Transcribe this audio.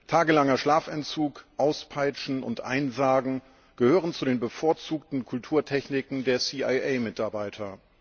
Tagelanger Schlafentzug, Auspeitschen und Einsargen gehören zu den bevorzugten Kulturtechniken der CIA Mitarbeiter.